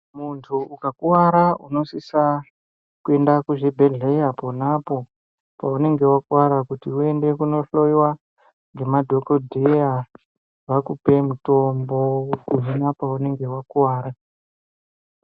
Muntu ukakuvara unosisa kuenda kuzvibhedhleya ponapo paunenge vakuvara kuti uende kunohloiwa ngemadhogodheya. Vakupe mutombo kuhina paunenge vakuvara.